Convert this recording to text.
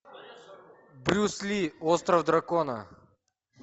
брюс ли остров дракона